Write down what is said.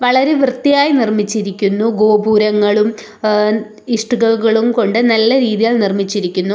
വളരെ വൃത്തിയായി നിർമ്മിച്ചിരിക്കുന്നു ഗോപുരങ്ങളും ഏഹ് ഇഷ്ടികകളും കൊണ്ട് നല്ല രീതിയിൽ നിർമ്മിച്ചിരിക്കുന്നു.